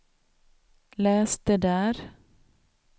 läs det där